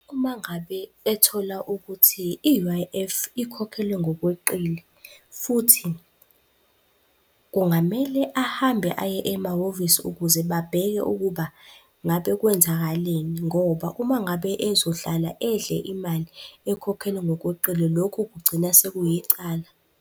Uma ngabe ethola ukuthi i-U_I_F ikhokhelwe ngokweqile, futhi kungamele ahambe aye emahhovisi ukuze babheke ukuba ngabe kwenzakaleni, ngoba uma ngabe ezohlala edle imali ekhokhelwe ngokweqile, lokhu kugcina sekuyicala.